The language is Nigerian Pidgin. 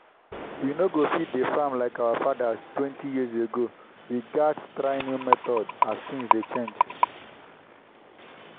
we no go fit dey farm like our fatherstwentyyears ago we gats try new methods as things dey change.